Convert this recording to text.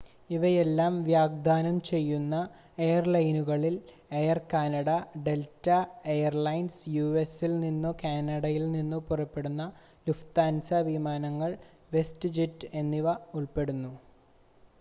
ഇവയെല്ലാം വാഗ്ദാനം ചെയ്യുന്ന എയർലൈനുകളിൽ air Canada Delta airlines u.s. ൽ നിന്നോ കാനഡയിൽ നിന്നോ പുറപ്പെടുന്ന ലുഫ്താൻസ വിമാനങ്ങൾ വെസ്റ്റ് ജെറ്റ് എന്നിവ ഉൾപ്പെടുന്നു